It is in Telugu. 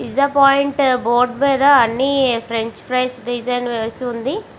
పిజ్జా పాయింట్ బోర్డు మేద అన్ని ఫ్రెంచ్ ప్రైస్ వేసి వునాయ్.